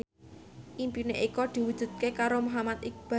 impine Eko diwujudke karo Muhammad Iqbal